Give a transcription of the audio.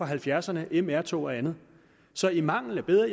halvfjerdserne mr tog og andet så i mangel af bedre